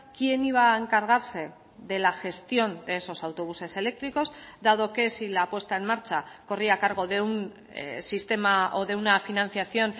quién iba a encargarse de la gestión de esos autobuses eléctricos dado que si la puesta en marcha corría a cargo de un sistema o de una financiación